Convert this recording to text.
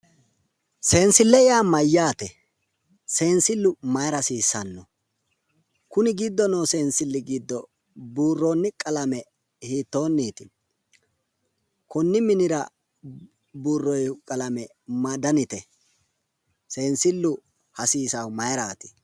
Seensille yaa mayyaate? Seensillu mayira hasiisano? Kuni giddo noo buurroonni qalame hiittoonniiti? Buurroonni qalame ma danite? Seensillu hasiisaahu mayiraati?